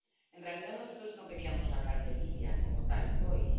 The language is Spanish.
En realidad, nosotros no queríamos hablar de Libia como tal hoy.